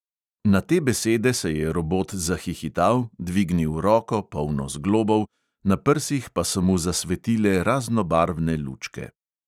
Na te besede se je robot zahihital, dvignil roko, polno zglobov, na prsih pa so mu zasvetile raznobarvne lučke.